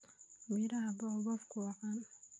Miraha baobabku waa caan.